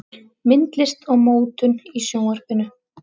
Myndlist og mótun í Sjónvarpinu